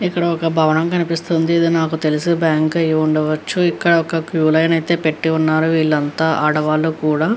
ఇక్కడ ఒక భవనం కనిపిస్తుంది. ఇది నాకు తెలిసి బ్యాంక్ అయి ఉండవచ్చు. ఇక్కడ ఒక క్యూ లైన్ అయితే పెట్టి ఉన్నారు వీళ్ళంతా ఆడవాళ్ళు కూడా.